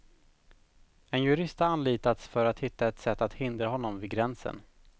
En jurist har anlitats för att hitta ett sätt att hindra honom vid gränsen.